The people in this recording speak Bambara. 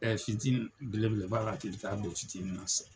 Ɛɛ fitini, belebeleba la k'i bi taa don fitini na sisan.